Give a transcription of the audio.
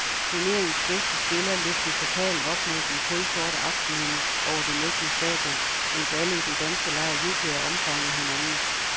Turneringens bedste spiller løftede pokalen op mod den kulsorte aftenhimmel over det mægtige stadion, mens alle i den danske lejr jublede og omfavnede hinanden.